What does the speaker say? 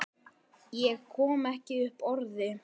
Ég kom ekki upp orði.